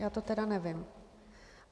Já to tedy nevím.